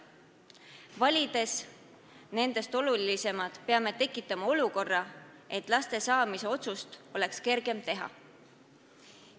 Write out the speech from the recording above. Valides nendest olulisemad, peame tekitama olukorra, kus laste saamise otsust oleks kergem teha.